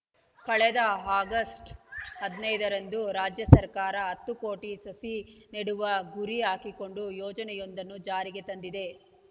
ಕಳೆದ ಆಗಸ್ಟ್‌ ಹದಿನೈದರಂದು ರಾಜ್ಯ ಸರ್ಕಾರ ಹತ್ತು ಕೋಟಿ ಸಸಿ ನೆಡುವ ಗುರಿ ಹಾಕಿಕೊಂಡು ಯೋಜನೆಯೊಂದನ್ನು ಜಾರಿಗೆ ತಂದಿದೆ